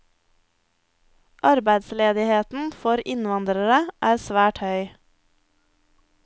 Arbeidsledigheten for innvandrere er svært høy.